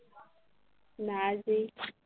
নাৰ্জি